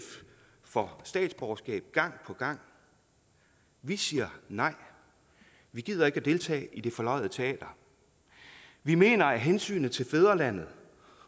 for statsborgerskab gang på gang vi siger nej vi gider ikke at deltage i det forløjede teater vi mener at hensynet til fædrelandet